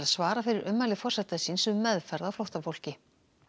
svara fyrir ummæli forseta síns um meðferð á flóttafólki